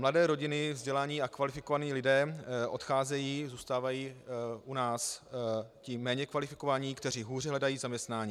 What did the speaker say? Mladé rodiny, vzdělaní a kvalifikovaní lidé odcházejí, zůstávají u nás ti méně kvalifikovaní, kteří hůře hledají zaměstnání.